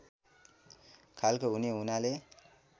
खालको हुने हुनाले